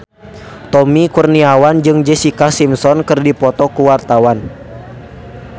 Tommy Kurniawan jeung Jessica Simpson keur dipoto ku wartawan